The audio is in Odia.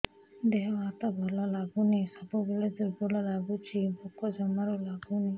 ଦେହ ହାତ ଭଲ ଲାଗୁନି ସବୁବେଳେ ଦୁର୍ବଳ ଲାଗୁଛି ଭୋକ ଜମାରୁ ଲାଗୁନି